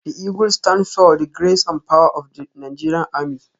The eagle stands for the grace and power of the Nigeria army.